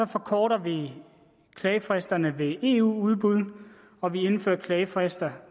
forkorter vi klagefristerne ved eu udbud og vi indfører klagefrister